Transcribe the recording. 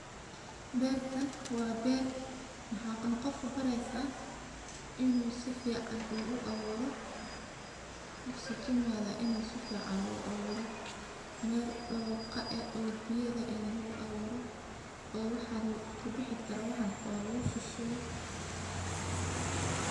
Bertan wa ber, maxaa qof ubareysaah in uu sifican uu awuroh, sukumaga uu sifican uu awuro, mel doqa leh oo biyo leh lugu awuro oo waxan kubixi karo lugushushubo.